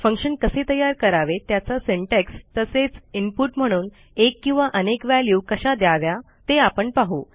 function कसे तयार करावे त्याचा सिंटॅक्स तसेच इनपुट म्हणून एक किंवा अनेक व्हॅल्यू कशा द्याव्या ते आपण पाहू